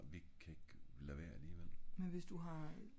vi kan ik lade vær alligevel